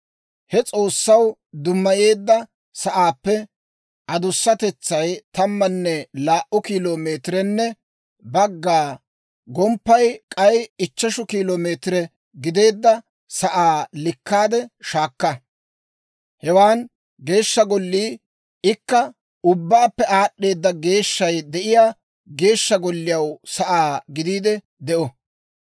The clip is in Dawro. He S'oossaw dummayeedda sa'aappe adusatetsay tammanne laa"u kilo meetirenne bagga, gomppay k'ay ichcheshu kilo meetire gideedda sa'aa likkaade shaakka. Hewan Geeshsha Gollii, ikka, ubbaappe aad'd'eeda geeshshay de'iyaa Geeshsha Golliyaw sa'aa gidiide de'o.